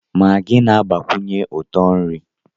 Maagị na-agbakwunye uto na nri.